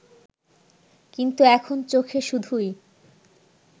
কিন্তু এখন চোখে শুধুই